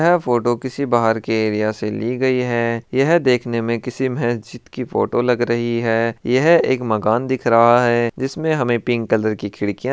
यह फोटो किसी बहार के एरिया से ली गई है यह देखने में किसी मस्जिद की फोटो लग रही है यह एक मकान दिख रहा है। जिसमें हमे पिक कलर की खिड़कियां--